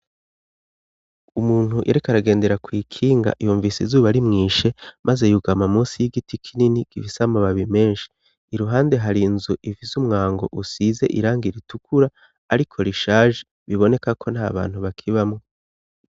Umuntu yereka aragendera kw'ikinga iyumvise izuba ari mwishe, maze yugama musi y'igiti kinini gifise amababi menshi iruhande hari nzu ivise umwango usize iranga iritukura, ariko rishaje biboneka ko nta bantu bakibamwo.